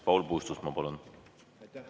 Paul Puustusmaa, palun!